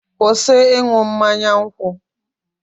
kwụsị ịṅụ mmanya nkwụ!